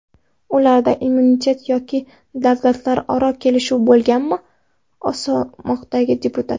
Ularda immunitet yoki davlatlararo kelishuv bo‘lmaganmi?” o‘smoqchiladi deputat.